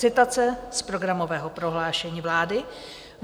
Citace z programového prohlášení vlády.